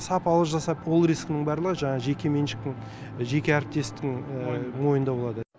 сапалы жасап ол рисктің барлығы жаңағы жекеменшіктің жеке әріптестің мойнында болады